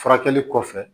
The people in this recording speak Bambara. Furakɛli kɔfɛ